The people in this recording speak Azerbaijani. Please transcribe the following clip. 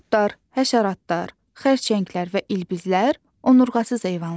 Qurdlar, həşəratlar, xərçənglər və ilbizlər onurğasız heyvanlardır.